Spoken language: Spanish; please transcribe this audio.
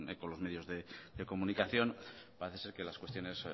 eco los medios de comunicación parece ser que las cuestiones